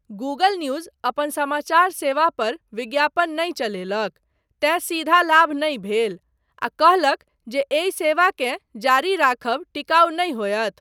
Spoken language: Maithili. गूगल न्यूज अपन समाचार सेवापर विज्ञापन नहि चलेलक, तेँ सीधा लाभ नहि भेल, आ कहलक जे एहि सेवाकेँ जारी राखब टिकाउ नहि होयत।